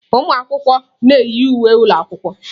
Ụmụ akwụkwọ na-eyi uwe ụlọ akwụkwọ.